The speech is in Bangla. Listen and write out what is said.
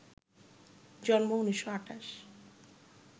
জন্ম ১৯২৮